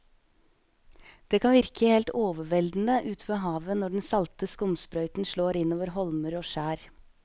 Det kan virke helt overveldende ute ved havet når den salte skumsprøyten slår innover holmer og skjær.